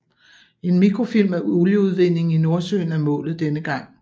En mikrofilm af olieudvindingen i Nordsøen er målet denne gang